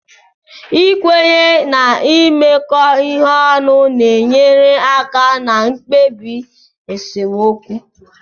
Ikwenye na imekọ ihe ọnụ na-enyere aka na mkpebi esemokwu